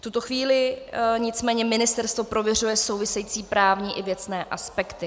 V tuto chvíli nicméně ministerstvo prověřuje související právní a věcné aspekty.